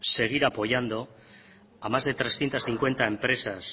seguir apoyando a más de trescientos cincuenta empresas